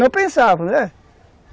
Não pensava, né?